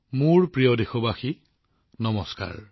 মোৰ মৰমৰ দেশবাসীসকল নমস্কাৰ